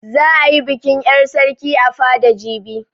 Za a yi bikin 'yar sarki a fada jibi.